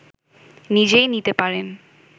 নিজেই নিতে পারেন